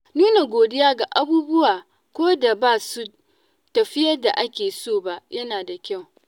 Nuna godiya ga abubuwa ko da ba su tafi yadda ake so ba, yana da kyau.